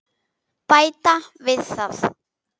Bæta við það.